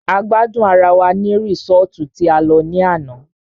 A gbádùn ará wá ní resọ́ọ́tu tí a lọ ní àná.